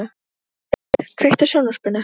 Skuld, kveiktu á sjónvarpinu.